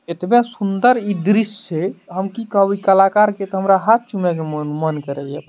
एतबे सुन्दर इ दृश्य छै हम की कहब इ कलाकार के तो हमरा हाथ चूमे के मन मन करे ये।